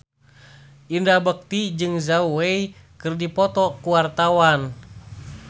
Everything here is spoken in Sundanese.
Indra Bekti jeung Zhao Wei keur dipoto ku wartawan